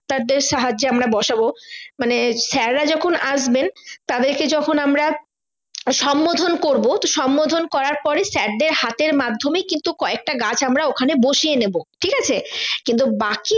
তাদের সাহায্যের আমরা বসাবো মানে sir রা যখন আসবেন তাদেরকে যখন আমরা সম্মোধন করবো তো সম্মোধন করার পরে sir দের হাতের মাধ্যমে কিন্তু কয়েকটা গাছ আমরা ওখানে বসিয়ে নেবো ঠিক আছে কিন্তু বাকি